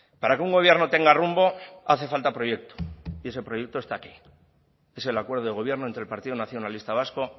para que un gobierno tenga rumbo hace falta proyecto y ese proyecto está aquí es el acuerdo de gobierno entre el partido nacionalista vasco